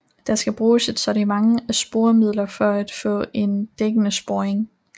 Der skal bruges et sortiment af sporemidler for at få en dækkende sporing